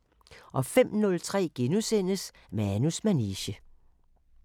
05:03: Manus manege *